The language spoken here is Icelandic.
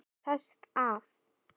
Sest að.